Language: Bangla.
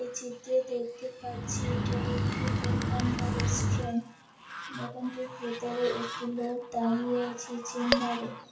এই চিত্রে দেখতে পাচ্ছি এটা একটি দোকান বা রেস্টুরেন্ট দোকানটির ভেতরে একটি লোক দাঁড়িয়ে আছে